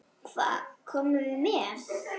Hvað komum við með?